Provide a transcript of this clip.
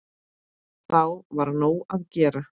Þá var nóg að gera.